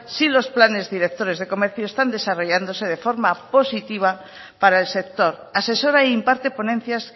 sí los planes directores de comercio están desarrollándose de forma positiva para el sector asesora e imparte ponencias